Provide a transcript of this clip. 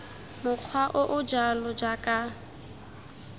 mokgwa o o jalo jaaka